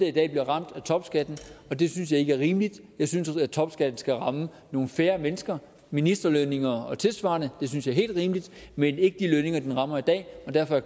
i dag bliver ramt af topskatten og det synes jeg ikke er rimeligt jeg synes at topskatten skal ramme nogle færre mennesker ministerlønninger og tilsvarende det synes jeg er helt rimeligt men ikke de lønninger den rammer i dag derfor er